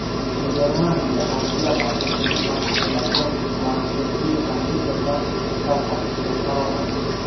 Niderlandiya adliya vazirligi mahbuslarga planshetli kompyuyterlar tarqatishga qaror qildi.